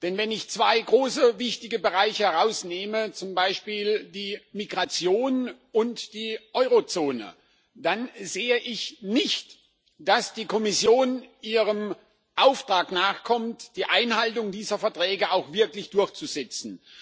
Denn wenn ich zwei große und wichtige Bereiche nehme, zum Beispiel die Migration und die Eurozone, dann sehe ich nicht, dass die Kommission ihrem Auftrag nachkommt, die Einhaltung dieser Verträge auch wirklich durchzusetzen.